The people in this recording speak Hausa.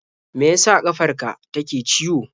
Me ya sa ƙafar ka take ciwo?